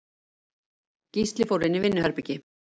Gísli fór inn í vinnuherbergi.